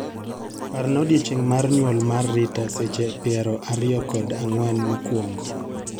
Parna odiechieng' mar nyuol mar Rita seche piero ariyo kod ang'wen mokwongo.